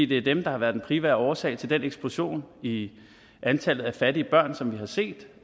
det er dem der har været den primære årsag til den eksplosion i antallet af fattige børn som vi har set